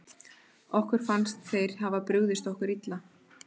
Okkur finnst sem þeir hafi brugðist okkur illa.